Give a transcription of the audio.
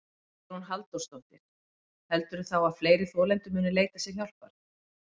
Hugrún Halldórsdóttir: Heldurðu þá að fleiri þolendur muni leita sér hjálpar?